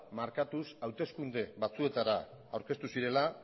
markatuz hauteskunde batzuetara aurkeztu zirela